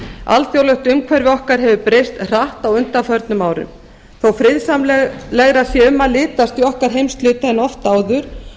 alþjóðlegt umhverfi okkar hefur breyst hratt á undanförnum árum þótt friðsamlegra sé um að litast í okkar heimshluta en oft áður